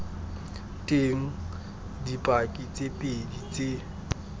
teng dipaki tse pedi tse